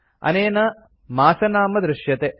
अनेन मासनाम दृश्यते